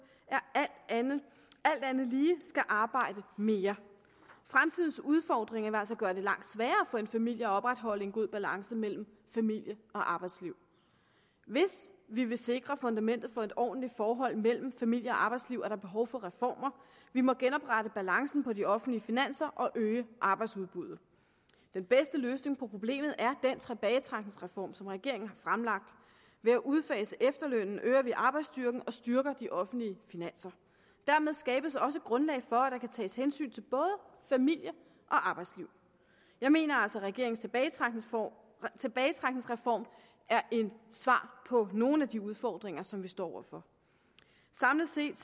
alt andet lige skal arbejde mere fremtidens udfordringer vil altså gøre det langt sværere for en familie at opretholde en god balance mellem familie og arbejdsliv hvis vi vil sikre fundamentet for et ordentligt forhold mellem familie og arbejdsliv er der behov for reformer vi må genoprette balancen i de offentlige finanser og øge arbejdsudbuddet den bedste løsning på problemet er den tilbagetrækningsreform som regeringen har fremlagt ved at udfase efterlønnen øger vi arbejdsstyrken og styrker de offentlige finanser dermed skabes også grundlaget for at der tages hensyn til både familie og arbejdsliv jeg mener altså at regeringens tilbagetrækningsreform tilbagetrækningsreform er et svar på nogle af de udfordringer som vi står over for samlet set